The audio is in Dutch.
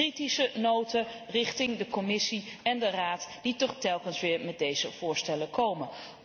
Kritische noten richting de Commissie en de Raad die toch telkens weer met deze voorstellen komen.